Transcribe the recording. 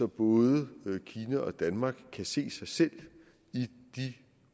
både kina og danmark kan se sig selv i de